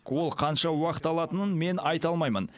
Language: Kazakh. ол қанша уақыт алатынын мен айта алмаймын